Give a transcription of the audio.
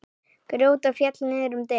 Grótta féll niður um deild.